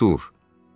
Artur!